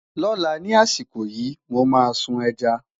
lọla ní àsìkò yìí, mọ má sun ẹja